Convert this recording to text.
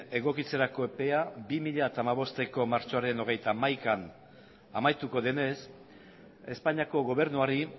egokitzerako epea bi mila hamabosteko martxoaren hogeita hamaikan amaituko denez espainiako gobernuari